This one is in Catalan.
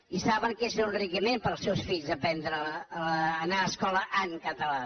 i saben que és un enriquiment per als seus fills anar a escola en català